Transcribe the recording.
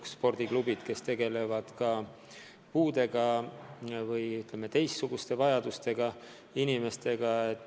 Osa spordiklubisid tegeleb ka puudega või, ütleme, erivajadustega inimestega.